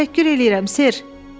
Təşəkkür eləyirəm, ser,